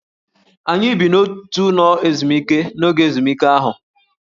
Anyị bi n'otu ụlọ ezumike n'oge ezumike ahụ